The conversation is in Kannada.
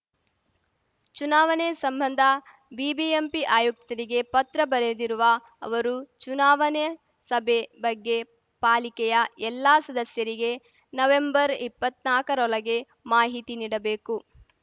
ಚುನಾವನೆ ಸಂಬಂಧ ಬಿಬಿಎಂಪಿ ಆಯುಕ್ತರಿಗೆ ಪತ್ರ ಬರೆದಿರುವ ಅವರು ಚುನಾವನೆ ಸಭೆ ಬಗ್ಗೆ ಪಾಲಿಕೆಯ ಎಲ್ಲ ಸದಸ್ಯರಿಗೆ ನವೆಂಬರ್‌ ಇಪ್ಪನಾಕರೊಳಗೆ ಮಾಹಿತಿ ನೀಡಬೇಕು